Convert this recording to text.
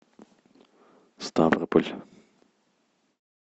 ставрополь